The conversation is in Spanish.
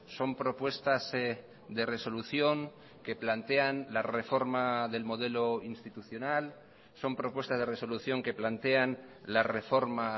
son propuestas de resolución que plantean la reforma del modelo institucional son propuestas de resolución que plantean la reforma